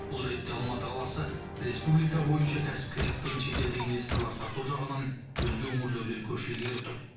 бұл ретте алматы қаласы республика бойынша кәсіпкерлік пен шетелдік инвесторлар тарту жағынан өзге өңірлерден көш ілгері тұр